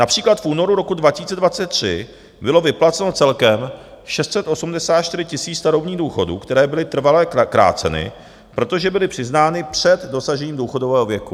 Například v únoru roku 2023 bylo vyplaceno celkem 684 000 starobních důchodů, které byly trvale kráceny, protože byly přiznány před dosažením důchodového věku.